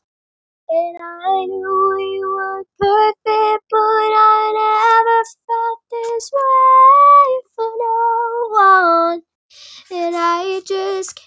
Albertsson umboðsmaður íslenskra fiskseljenda á Spáni kemur með